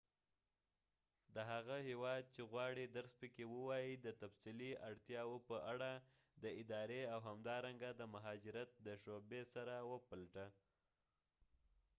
د هغه هیواد چې غواړې درس پکې ووایې د تفصیلي اړتیاوو په اړه د ادارې او همدارنګه د مهاجرت د شعبې سره وپلټه